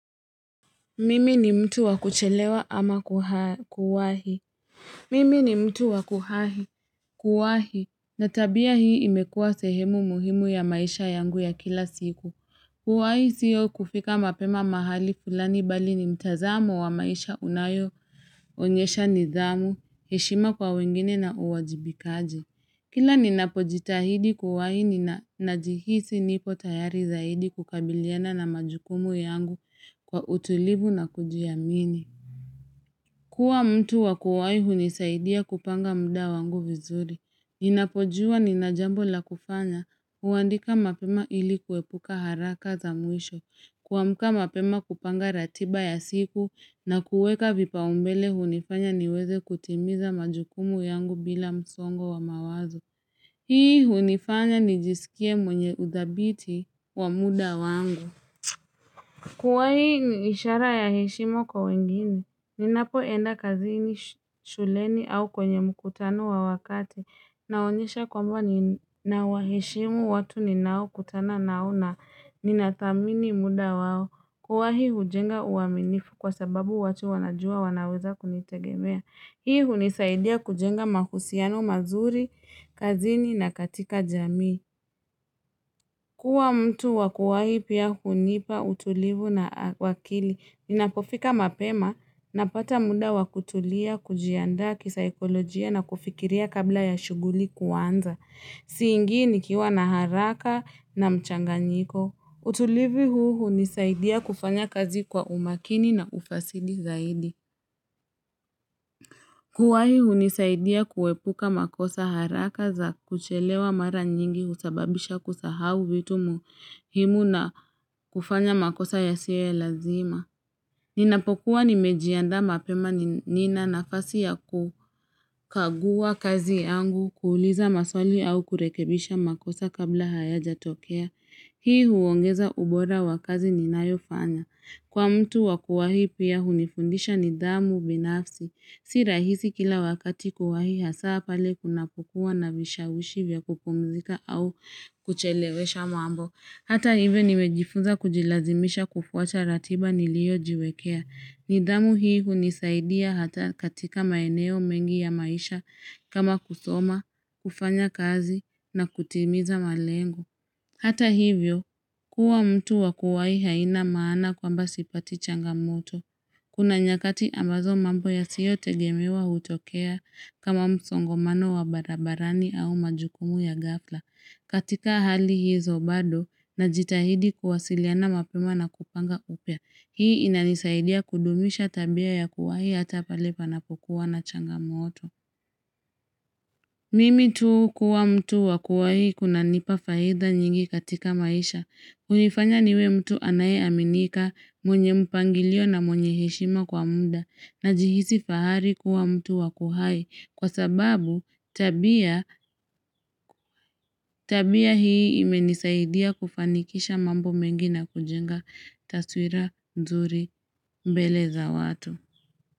Mimi ni mtu wakuchelewa ama kuwahi. Mimi ni mtu wakuhahi. Kuwahi. Na tabia hii imekua sehemu muhimu ya maisha yangu ya kila siku. Kuwahi sio kufika mapema mahali fulani bali ni mtazamo wa maisha unayo, onyesha nidhamu, heshima kwa wengine na uwajibikaji. Kila ninapojitahidi kuwahi na najihisi nipo tayari zaidi kukabiliana na majukumu yangu kwa utulivu na kujiamini. Kua mtu wakuwahi hunisaidia kupanga muda wangu vizuri. Ninapojua nina jambo la kufanya. Huwandika mapema ilikuepuka haraka za mwisho. Kuamka mapema kupanga ratiba ya siku, na kuweka vipaombele hunifanya niweze kutimiza majukumu yangu bila msongo wa mawazo. Hii hunifanya nijisikie mwenye udhabiti wa muda wangu. Kuwahi ni ishara ya heshima kwa wengine, ninapo enda kazini, shuleni au kwenye mkutano wa wakati. Naonyesha kwamba nina waheshimu watu ninao kutana nao na ninadhamini muda wao. Kuwahi hujenga uaminifu, kwa sababu watu wanajua wanaweza kunitegemea. Hii hunisaidia kujenga mahusiano mazuri, kazini na katika jamii. Kuwa mtu wakuwa hii pia hunipa utulivu na wa akili. Ninapofika mapema napata muda wakutulia, kujiandaa, kisaikolojia na kufikiria kabla ya shuguli kuanza. Siingi nikiwa na haraka na mchanganyiko. Utulivi huu hunisaidia kufanya kazi kwa umakini na ufasidi zaidi. Kuwahi hunisaidia kuwepuka makosa haraka za kuchelewa mara nyingi husababisha kusahau vitu muhimu na kufanya makosa yasiyo ya lazima. Ninapokuwa nimejiandaa mapema nina nafasi ya ku, kagua kazi yangu, kuuliza maswali au kurekebisha makosa kabla hayajatokea. Hii huongeza ubora wa kazi ninayofanya. Kwa mtu wa kuwahii pia hunifundisha nidhamu binafsi, si rahisi kila wakati kuwahi hasa pale kuna kukua na vishawishi vya kupumzika au kuchelewesha mambo. Hata hivyo nimejifunza kujilazimisha kufuata ratiba nilio jiwekea. Nidamu hii hunisaidia hata katika maeneo mengi ya maisha, kama kusoma, kufanya kazi na kutimiza malengo. Hata hivyo, kuwa mtu wakuwai haina maana kwamba sipati changamoto. Kuna nyakati ambazo mambo yasiyo tegemewa hutokea, kama msongamano wa barabarani au majukumu ya gafla. Katika hali hizo bado, najitahidi kuwasiliana mapema na kupanga upya, hii inanisaidia kudumisha tabia ya kuwahii hatapalipa na pukuwa na changamoto. Mimi tu kuwa mtu wa kuwahii kunanipa faida nyingi katika maisha. Hunifanya niwe mtu anaye aminika, mwenye mpangilio na mwenye heshima kwa muda, najihisi fahari kuwa mtu wakuhai kwa sababu tabia hii imenisaidia kufanikisha mambo mengi na kujenga taswira nzuri mbele za watu.